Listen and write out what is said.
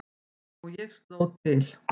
Og ég sló til.